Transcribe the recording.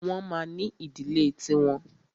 Wọ́n ma ní ìdílé ti wọn.